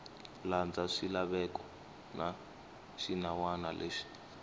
landza swilaveko na swinawana leswi